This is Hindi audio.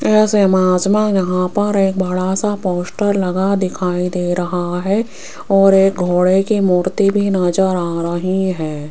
इस इमेज में यहां पर एक बड़ा सा पोस्टर लगा दिखाई दे रहा है और एक घोड़े की मूर्ति भी नजर आ रही है।